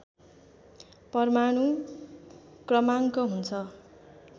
परमाणु क्रमाङ्क हुन्छ